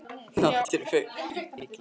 Náttúrufegurð er mikil í Önundarfirði.